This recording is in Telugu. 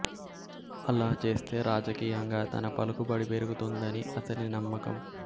అలా చేస్తే రాజకీయంగా తన పలుకుబడి పెరుగుతుందని అతని నమ్మకం